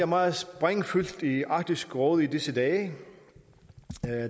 meget sprængfyldt stof i arktisk råd i disse dage